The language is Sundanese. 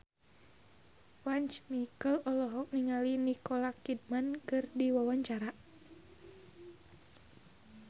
Once Mekel olohok ningali Nicole Kidman keur diwawancara